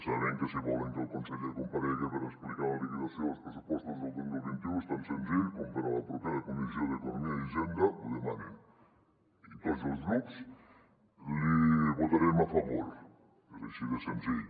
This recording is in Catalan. saben que si volen que el conseller comparega per explicar la liquidació dels pressupostos del dos mil vint u és tan senzill com per a la propera comissió d’economia i hisenda ho dema·nen i tots els grups l’hi votarem a favor és així de senzill